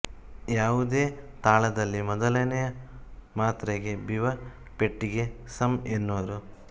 ಯಾವುದೆ ತಾಳದಲ್ಲಿ ಮೊದಲನೆಯ ಮಾತ್ರೆಗೆ ಬಿವ ಪೆಟ್ಟಿಗೆ ಸಮ್ ಎನ್ನುವರು